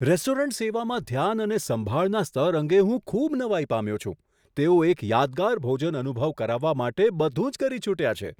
Restaurant સેવામાં ધ્યાન અને સંભાળના સ્તર અંગે હું ખૂબ નવાઈ પામ્યો છું, તેઓ એક યાદગાર ભોજન અનુભવ કરાવવા માટે બધું જ કરી છૂટ્યા છે.